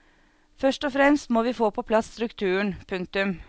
Først og fremst må vi få på plass strukturen. punktum